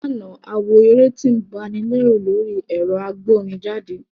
Ní àná, a wo eré tí ń ba ni lẹ́rù lórí ẹ̀rọ agbórinjáde